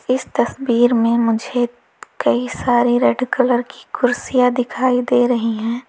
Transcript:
इस तस्वीर में मुझे कई सारी रेड कलर की कुर्सियां दिखाई दे रही हैं।